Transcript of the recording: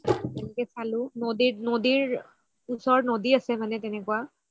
এনেকুৱা চালো নদি‍‍‍‍‍‍‍‍‍‍‍‍‍‍ত নাদিৰ ওচৰত নদি আছে মানে তেনেকুৱা